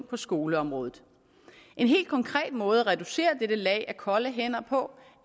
på skoleområdet en helt konkret måde at reducere dette lag af kolde hænder på